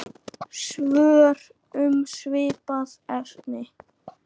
Svör um svipað efni